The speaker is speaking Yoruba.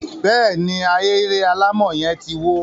bẹ́ẹ̀ ni, Ahéré yẹn alámọ̀ ti wó.